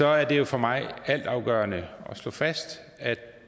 er det jo for mig altafgørende at slå fast at